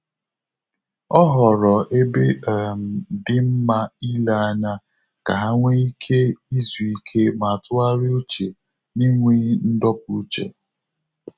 Ọ ghọrọ ebe um dị nma ile anya ka ha nwe ike izu ike ma tụgharịa uche na-enweghị ndopu uche